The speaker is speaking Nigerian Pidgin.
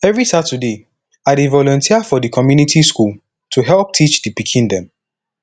every saturday i dey volunteer for di community school to help teach di pikin dem